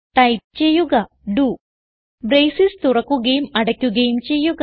type ചെയ്യുക ഡോ braces തുറക്കുകയും അടക്കുകയും ചെയ്യുക